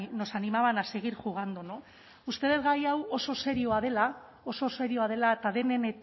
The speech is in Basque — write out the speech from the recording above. nos animaban a seguir jugando no usted dut gai hau oso serioa dela oso serioa dela eta denen